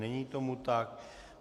Není tomu tak.